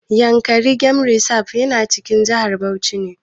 Yankari game reserve yana cikin jihar Bauchi ne.